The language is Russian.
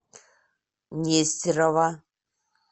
нестерова